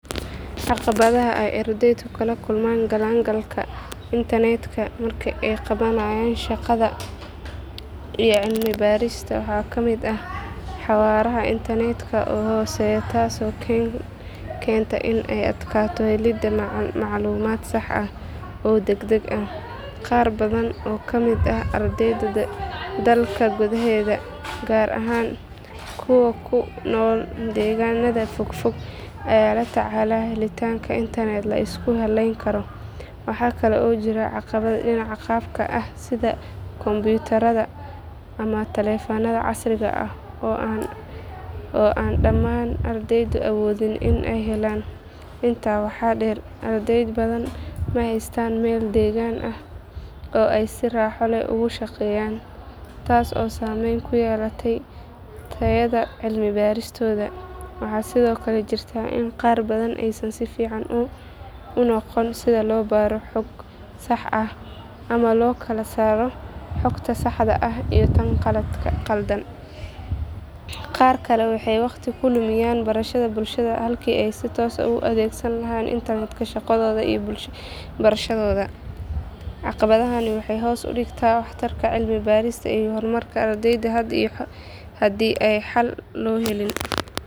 Caqabadaha ay ardaydu kala kulmaan galaangalka interneedka marka ay qabanayaan shaqada iyo cilmi baarista waxaa ka mid ah xawaaraha internetka oo hooseeya taasoo keenta in ay adkaato helidda macluumaad sax ah oo degdeg ah. Qaar badan oo ka mid ah ardayda dalka gudaheeda gaar ahaan kuwa ku nool deegaanada fog fog ayaa la tacaala helitaanka internet la isku halayn karo. Waxa kale oo jirta caqabad dhinaca qalabka ah sida kombiyuutarro ama taleefannada casriga ah oo aan dhammaan ardaydu awoodin in ay helaan. Intaa waxaa dheer arday badan ma haystaan meel deggan oo ay si raaxo leh ugu shaqeeyaan, taas oo saameyn ku yeelata tayada cilmi baaristooda. Waxaa sidoo kale jirta in qaar badan aysan si fiican u aqoon sida loo baaro xog sax ah ama loo kala saaro xogta saxda ah iyo tan khaldan. Qaar kale waxay waqti ku lumiyaan baraha bulshada halkii ay si toos ah ugu adeegsan lahaayeen internetka shaqadooda iyo barashadooda. Caqabadahani waxay hoos u dhigaan waxtarka cilmi baarista iyo horumarka ardayga haddii aan xal loo helin.